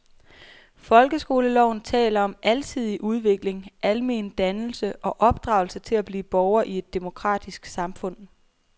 Folkeskoleloven taler om alsidig udvikling, almen dannelse og opdragelse til at blive borger i et demokratisk samfund.